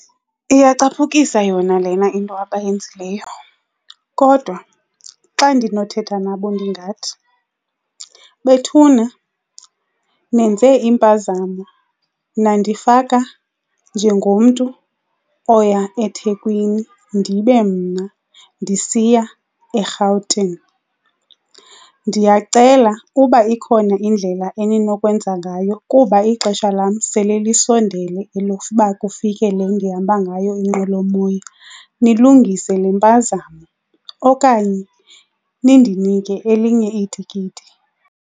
Iyacapukisa yona lena into abayenzileyo kodwa xa ndinothetha nabo ndingathi, bethuna nenze impazamo nandifaka njengomntu oya eThekwini ndibe mna ndisiya eRhawutini. Ndiyacela uba ikhona indlela eninokwenza ngayo kuba ixesha lam lam sele lisondele elokuba kufike le ndihamba ngayo inqwelomoya, nilungise le mpazamo okanye nindinike elinye itikiti.